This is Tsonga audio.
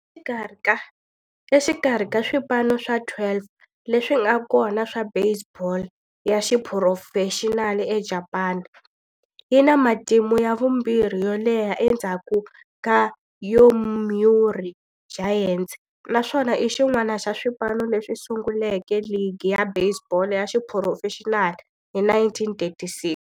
Exikarhi ka swipano swa 12 leswi nga kona swa baseball ya xiphurofexinali eJapani, yi na matimu ya vumbirhi yo leha endzhaku ka Yomiuri Giants, naswona i xin'wana xa swipano leswi sunguleke ligi ya baseball ya xiphurofexinali hi 1936.